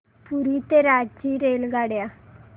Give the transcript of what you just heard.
पुरी ते रांची रेल्वेगाड्या